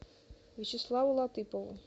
вячеславу латыпову